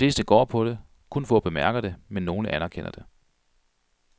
De fleste går på det, kun få bemærker det, men nogle anerkender det.